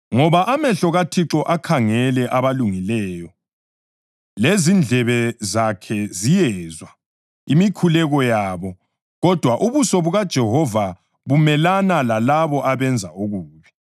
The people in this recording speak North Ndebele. Ngoba amehlo kaThixo akhangele abalungileyo lezindlebe zakhe ziyezwa, imikhuleko yabo, kodwa ubuso bukaJehova bumelana lalabo abenza okubi.” + 3.12 AmaHubo 34.12-16